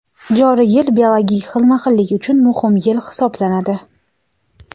joriy yil biologik xilma-xillik uchun muhim yil hisoblanadi.